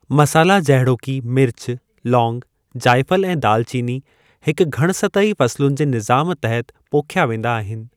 मसाला जहिड़ोकि मिर्च, लौंग, जायफल, ऐं दालचीनी हिकु घणसतही फ़सुलुनि जे निज़ामु तहति पोख्या वेंदा आहिनि।